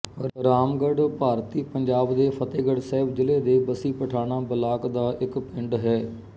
ਰਾਮਗੜ੍ਹ ਭਾਰਤੀ ਪੰਜਾਬ ਦੇ ਫ਼ਤਹਿਗੜ੍ਹ ਸਾਹਿਬ ਜ਼ਿਲ੍ਹੇ ਦੇ ਬੱਸੀ ਪਠਾਣਾਂ ਬਲਾਕ ਦਾ ਇੱਕ ਪਿੰਡ ਹੈ